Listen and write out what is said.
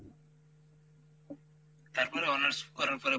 তারপরে honors করার পরে,